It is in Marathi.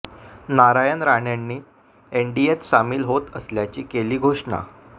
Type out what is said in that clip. नारायण राणेंनी एनडीएत सामील होत असल्याची केली घोषणा